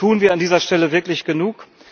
Tun wir an dieser Stelle wirklich genug?